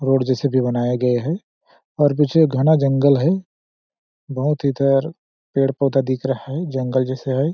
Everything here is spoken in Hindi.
रोड जैसे भी बनाए गए हैं और पीछे घना जंगल है बहुत इधर पेड़ पौधा दिख रहा है जंगल जैसे है।